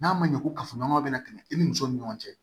N'a ma ɲɛ ko kafoɲɔgɔnya bɛna tɛmɛ i ni muso ni ɲɔgɔn cɛ